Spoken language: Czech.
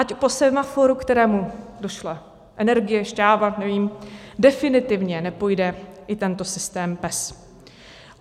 Ať po semaforu, kterému došla energie, šťáva, nevím, definitivně nepojde i tento systém PES.